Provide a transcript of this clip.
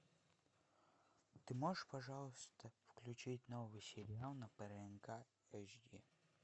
ты можешь пожалуйста включить новый сериал на прнк эйч ди